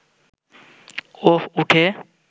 ও উঠে